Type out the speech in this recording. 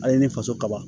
A ye ne faso ka ban